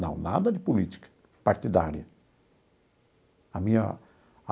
Não, nada de política partidária a minha.